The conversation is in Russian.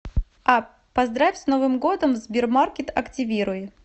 апп поздравь с новым годом в сбермаркет активируй